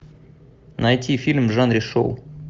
найти фильм в жанре шоу